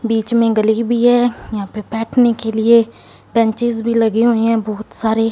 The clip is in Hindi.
बीच में गली भी है यहां पे बैठने के लिए बेंचेज भी लगी हुई है बहुत सारे--